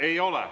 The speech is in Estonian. Ei ole.